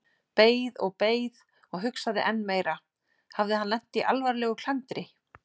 Beið og beið og hugsaði enn meira: Hafði hann lent í alvarlegu klandri?